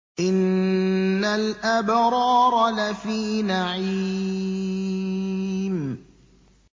إِنَّ الْأَبْرَارَ لَفِي نَعِيمٍ